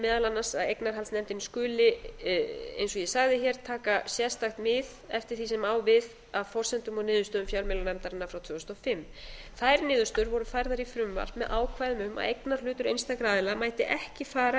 meðal annars að eignarhaldsnefndin skuli eins og ég sagði hér taka sérstakt mið eftir því sem á við af forsendum og niðurstöðum fjölmiðlanefndarinnar frá tvö þúsund og fimm þær niðurstöður voru færðar í frumvarp með ákvæðum um að eignarhlutur einstakra aðila mætti ekki fara